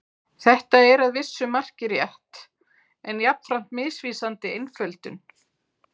Þetta er að vissu marki rétt en jafnframt misvísandi einföldun.